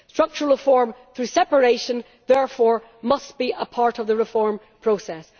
Structural reform through separation therefore must be a part of the reform process.